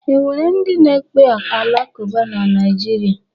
O nwere ndị na-ekpe Alakuba na Naịjirịa?